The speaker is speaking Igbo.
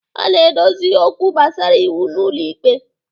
A na-edozi okwu gbasara iwu n'ụlọ ikpe.